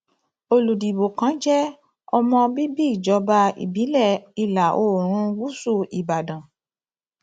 olùdìbò kan jẹ ọmọ bíbí ìjọba ìbílẹ ìlàoòrùn gúúsù ìbàdàn